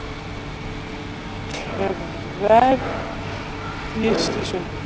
Kremjist í sundur.